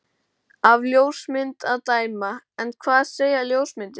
Af ljósmynd að dæma. en hvað segja ljósmyndir?